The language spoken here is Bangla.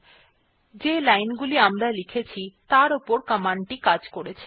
এখন যে লাইনগুলি আমরা লিখেছি তার উপর কমান্ড টি কাজ করেছে